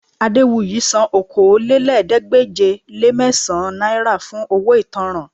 Adéwuyì san Okòólélẹ́ẹ̀ẹ́dégbèje-le-mẹ́sàn-án náírà fún owó ìtanràn